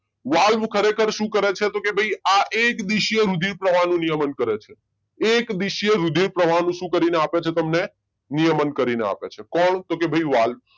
Valve ખરેખર શું કરે છે તો કે ભાઈ આ એક દિશીય રુધિર ના પ્રવાહનો નિયમન કરે છે એક દિશીય રુધિર પ્રવાહનો શું કરીને આપણે છે તમને? નિયમન કરીને આપે છે. કોણ? તો કે ભાઈ વાલ્વ